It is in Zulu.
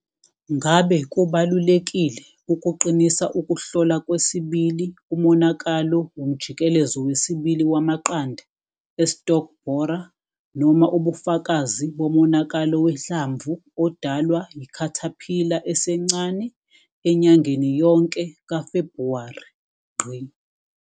Ngabe kubalulekile ukuqinisa ukuhlola kwesibili umonakalo womjikelezo wesibili wamaqanda e-stalk borer noma ubufakazi bomonakalo wehlamvu odalwa yi-caterpillar esencane enyangeni yonke ka-Febhuwari.